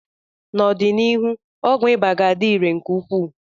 N'ọdịnihu ọgwụ ịba ga-adị irè nke ukwuu.